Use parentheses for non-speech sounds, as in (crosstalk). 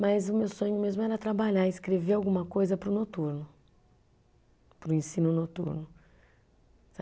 Mas o meu sonho mesmo era trabalhar, escrever alguma coisa para o noturno, para o ensino noturno. (unintelligible)